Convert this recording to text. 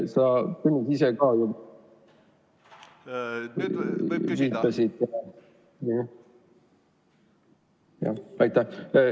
Aitäh!